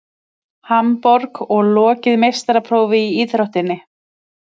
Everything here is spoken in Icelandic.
Hamborg og lokið meistaraprófi í íþróttinni.